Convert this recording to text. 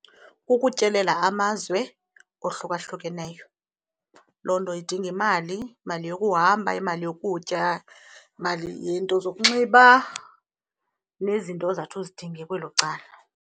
Kukutyelela amazwe ohlukahlukeneyo. Loo nto idinga imali imali yokuhamba imali yokutya imali yento zokunxiba nezinto ozawuthi uzidinge kwelo cala.